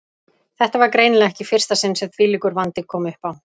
Þetta var greinilega ekki í fyrsta sinn sem þvílíkur vandi kom uppá.